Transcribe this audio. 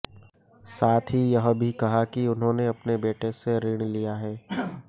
साथ ही यह भी कहा कि उन्हेंने अपने बेटे से ऋण लिया है